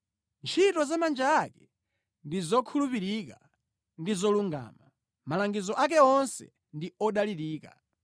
Ntchito za manja ake ndi zokhulupirika ndi zolungama; malangizo ake onse ndi odalirika.